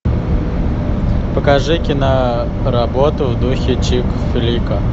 покажи киноработу в духе чик флика